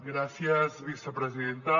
gràcies vicepresidenta